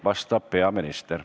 Vastab peaminister.